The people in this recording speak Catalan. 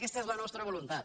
aquesta és la nostra voluntat